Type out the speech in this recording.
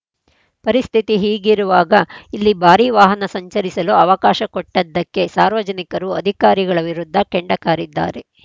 ಪರಿಸ್ಥಿತಿ ಹೀಗಿರುವಾಗ ಇಲ್ಲಿ ಭಾರಿ ವಾಹನ ಸಂಚರಿಸಲು ಅವಕಾಶ ಕೊಟ್ಟದ್ದಕ್ಕೆ ಸಾರ್ವಜನಿಕರು ಅಧಿಕಾರಿಗಳ ವಿರುದ್ಧ ಕೆಂಡಕಾರಿದ್ದಾರೆ